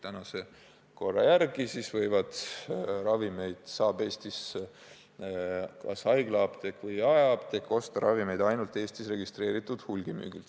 Praeguse korra järgi saab Eestis nii haiglaapteek kui ka jaeapteek osta ravimeid ainult Eestis registreeritud hulgimüüjalt.